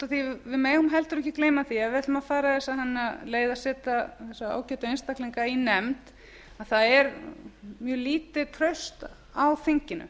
að við megum heldur ekki gleyma því að ef við ætlum að fara í þessa leið að setja þessa ágætu einstaklinga í nefnd að það er mjög lítið traust á þinginu